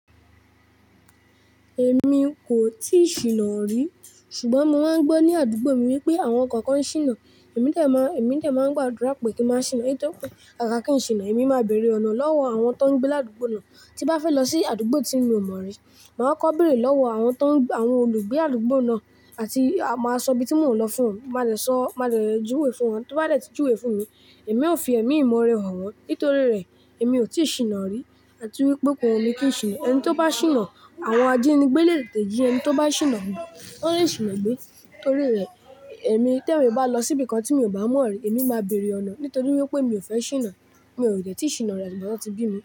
Èmi kò tíì ṣìnà rí, ṣùgbọ́n mo máa ń gbọ́ ní àdúgbò mi wípé àwọn ọkọ̀ kan ṣìnà. Èmi de má, èmi de má ń gbàdúrà pé kí ń má ṣìnà. Nítorí pé ká ká kì í ṣìnà. Èmi máa béèrè ọ̀nà lọ́wọ́ àwọn tó ń gbé ládùgbò náà tí bá fẹ́ lọ sí àdúgbò tí mi ò mọ̀ rí. Màá kọ́ béèrè lọ́wọ́ àwọn tó ń, àwọn olùgbé àdúgbò náà àti máa sọ ibi tí mò ń lọ fún wọn. Máa dẹ̀ sọ, máa dẹ̀ júwe fún wọn. Tó bá dẹ̀ tí júwe fún mi, èmi ó fi ẹ̀mí mi mọ ọ̀rẹ́ hàn wọ́n. Nítorí rẹ̀, èmi ò tíì ṣìnà rí. Àti wípé ko wu mi kì í ṣìnà. Ẹni tó bá ṣìnà, àwọn ajénígbé lè tetẹ̀ jí ẹni tó bá ṣìnà gbe Wọ́n lè ṣìnà gbé. Nítorí rẹ̀, èmi tí èmi bá lọ síbi kan tí mi ò bá mọ̀ rí, èmi máa béèrè ọ̀nà. Nítorí wípé mi ò fẹ́ ṣìnà. Mi o dẹ́ẹ̀ tí ṣìnà rí àtigba tí wọ́n ti bí mi.